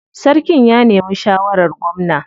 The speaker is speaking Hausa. Sarkin ya nemi shawarar gwamna.